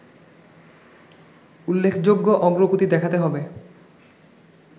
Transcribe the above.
উল্লেখযোগ্য অগ্রগতি দেখাতে হবে